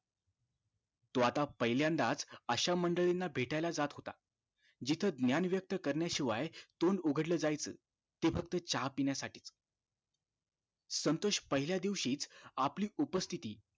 तो आता पहिल्यांदाच अशा मंडळींना भेटाला जात होता जिथं ज्ञान व्यक्त करण्याशिवाय तोंड उघडलं जायचं ते फक्त चहा पिण्यासाठी च संतोष पहिल्या दिवशी आपली उपस्तिथी